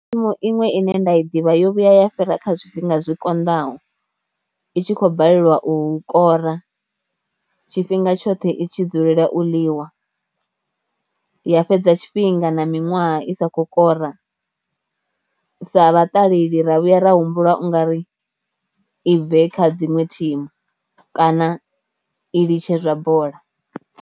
Thimu iṅwe ine nda i ḓivha yo vhuya ya fhira kha zwifhinga zwikonḓaho, i tshi khou balelwa u kora, tshifhinga tshoṱhe i tshi dzulela u ḽiwa, ya fhedza tshifhinga na miṅwaha i sa kho kora sa vhaṱaleli ra vhuya ra humbula u nga ri i bve kha dziṅwe thimu kana i litshe zwa bola.